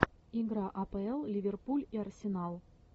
игра апл ливерпуль и арсенал